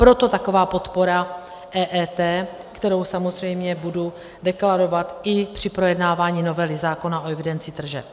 Proto taková podpora EET, kterou samozřejmě budu deklarovat i při projednávání novely zákona o evidenci tržeb.